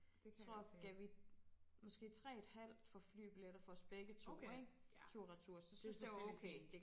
Tror gav vi måske 3 et halvt for flybilletter for os begge to ikke tur retur så synes det var okay